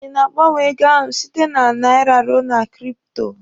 Ị na-gbanwe ego ahụ site na naira ruo na kripto?